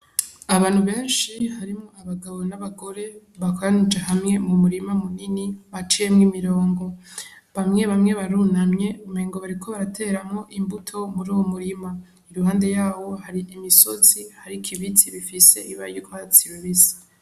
Abantu benshi harimwo abagabo n'abagore bakoranije hamwe mu murima mu nini baciyemwo imirongo bamwe bamwe barunamye umengo bariko barateramwo imbuto muri uwo murima i ruhande yawo hari imisozi hariko ibizi bifise ibara ry‘Urwatsi rubisi.